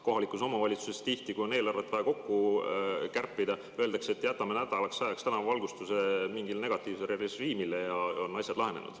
Kohalikus omavalitsuses tihti, kui on eelarvet vaja kärpida, öeldakse, et jätame nädalaks ajaks tänavavalgustuse mingile negatiivsele režiimile, ja ongi asjad lahenenud.